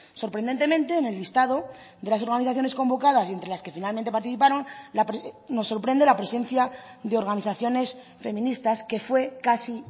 sorprendentemente en el listado de las organizaciones convocadas y entre las que finalmente participaron nos sorprende la presencia de organizaciones feministas que fue casi